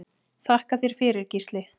Þakka þér fyrir Gísli.